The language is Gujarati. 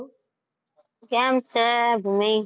કેમ છે ભૂમિ?